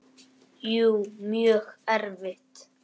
Jú, mjög erfitt.